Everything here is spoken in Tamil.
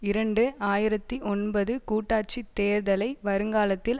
இரண்டு ஆயிரத்தி ஒன்பது கூட்டாட்சித் தேர்தலை வருங்காலத்தில்